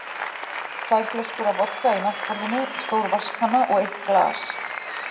Tvær flöskur af vodka í náttborðinu, stór vatnskanna og eitt glas.